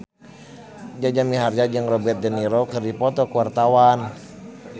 Jaja Mihardja jeung Robert de Niro keur dipoto ku wartawan